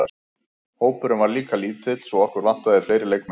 Hópurinn var líka lítill svo okkur vantaði fleiri leikmenn.